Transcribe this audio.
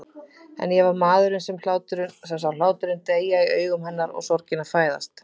En ég var maðurinn sem sá hláturinn deyja í augum hennar og sorgina fæðast.